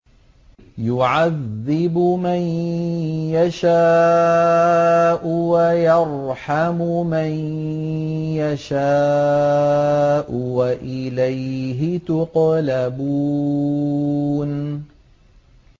يُعَذِّبُ مَن يَشَاءُ وَيَرْحَمُ مَن يَشَاءُ ۖ وَإِلَيْهِ تُقْلَبُونَ